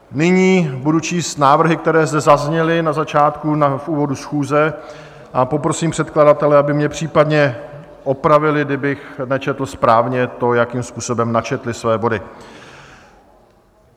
Nyní budu číst návrhy, které zde zazněly na začátku, v úvodu schůze, a poprosím předkladatele, aby mě případně opravili, kdybych nečetl správně to, jakým způsobem načetli své body.